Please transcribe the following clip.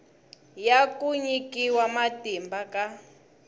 ya ku nyikiwa matimba ka